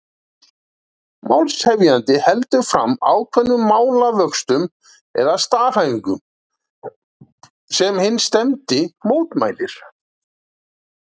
Málshefjandi heldur fram ákveðnum málavöxtum eða staðhæfingu, sem hinn stefndi mótmælir.